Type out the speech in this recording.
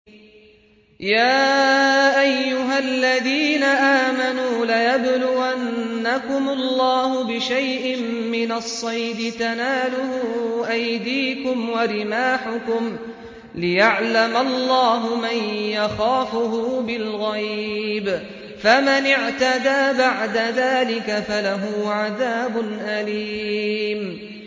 يَا أَيُّهَا الَّذِينَ آمَنُوا لَيَبْلُوَنَّكُمُ اللَّهُ بِشَيْءٍ مِّنَ الصَّيْدِ تَنَالُهُ أَيْدِيكُمْ وَرِمَاحُكُمْ لِيَعْلَمَ اللَّهُ مَن يَخَافُهُ بِالْغَيْبِ ۚ فَمَنِ اعْتَدَىٰ بَعْدَ ذَٰلِكَ فَلَهُ عَذَابٌ أَلِيمٌ